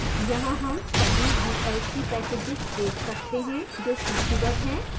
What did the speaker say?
यहाँ हम सभी vlc packages देख सकते हैं जो सूचीबद्ध हैं